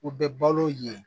U bɛ balo ye